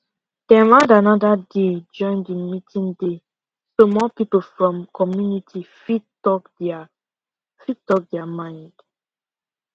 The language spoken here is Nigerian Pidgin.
dem add another day join the meeting day so more people from community fit talk their fit talk their mind